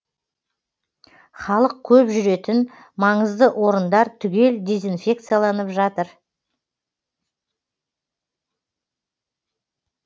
қазақ көп жүретін маңызды орындар түгел дезинфекцияланып жатыр